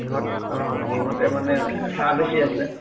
সিহঁত অ সিহঁতে মানে চাহ বেছি আছিলে